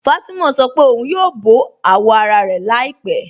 Fátimà sọ́ pẹ̀ ọ̀un yóò bọ awọ́ ara rẹ̀ làípẹ̀